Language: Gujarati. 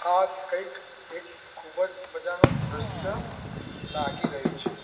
આ કઈક એક ખુબજ મજાનુ દ્રશ્ય લાગી રહ્યુ છે.